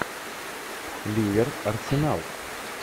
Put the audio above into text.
ливер арсенал